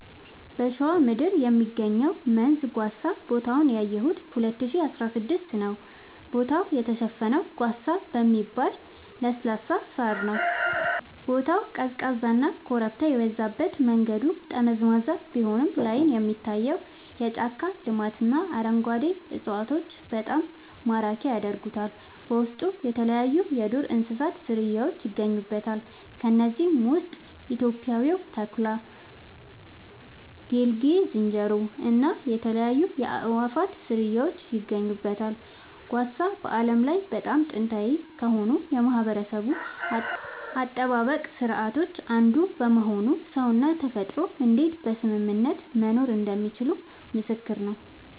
በሸዋ ምድር የሚገኘው መንዝ ጓሳ ቦታውን ያየሁት 2016 ነዉ ቦታው የተሸፈነው ጓሳ በሚባል ለስላሳ ሳር ነዉ ቦታው ቀዝቃዛና ኮረብታ የበዛበት መንገዱ ጠመዝማዛ ቢሆንም ላይን የሚታየው የጫካ ልማትና አረንጓዴ እፅዋቶች በጣም ማራኪ ያደርጉታል በውስጡ የተለያይዩ የዱር እንስሳት ዝርያውች ይገኙበታል ከነዚህም ውስጥ ኢትዮጵያዊው ተኩላ ጌልጌ ዝንጀሮ እና የተለያዩ የአእዋፋት ዝርያወች ይገኙበታል። ጓሳ በዓለም ላይ በጣም ጥንታዊ ከሆኑ የማህበረሰብ አጠባበቅ ስርዓቶች አንዱ በመሆኑ ሰውና ተፈጥሮ እንዴት በስምምነት መኖር እንደሚችሉ ምስክር ነዉ